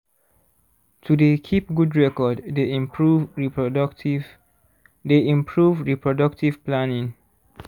to dey keep good record dey improve reproductive dey improve reproductive palnning